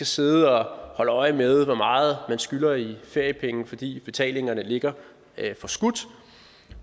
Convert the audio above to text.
sidde og holde øje med hvor meget skylder i feriepenge fordi betalingerne ligger forskudt